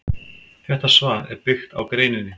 Þetta svar er byggt á greininni.